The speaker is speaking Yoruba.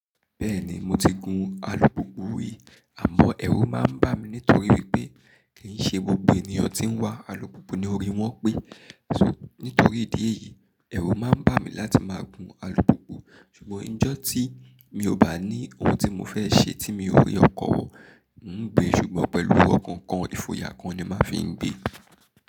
Bẹ́ẹ̀ni, mo ti gun alùpùpù rí, àmọ́ ẹ̀rù máa ń bà mí nítorí wípé kì í ṣe gbogbo ènìyàn tí ń wá alùpùpù ni orí wọ́n pé. Ṣó, nítorí ìdí èyí, ẹ̀rù máa ń bà mí láti máa gun alùpùpù. Ṣùgbọ́n ọjọ́ tí mi ò bá ní ohun tí mo fẹ́ ṣe tí mi ò rí ọkọ̀ wò, n ó gbé ṣùgbọ́n pẹ̀lú ọkọ̀ kan, ìfòyà kan ni màá fi ń gbé.